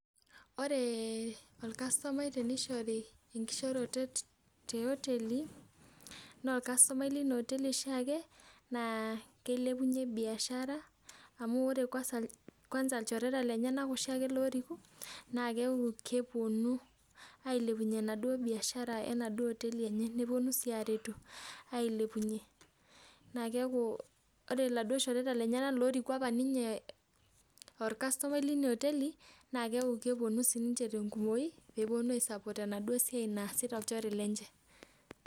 Wore orkastomai tenishori enkishoorotet teoteli, naa orkastomai linia oteli oshiake, naa kilepunyie biashara. Amu wore kwansa, kwansa ilchoreta lenyanak oshiake looriku, naa keaku keponu ailepunyie enaduo biashara enaduo oteli enye, neponu sii aaretu ailepunyie. Naa keaku wore iladuo shoreta lenyanak looriku apa ninye aa orkastomai linia oteli, naa keaku keponu sininche tenkumoyu pee eponu ai support enaduo siai naasita olchore lenche.